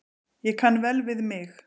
Ég kann vel við mig.